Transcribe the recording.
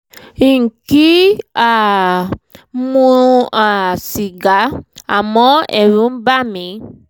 n kì um í mu um sìgá àmọ́ ẹ̀rù ń bà mí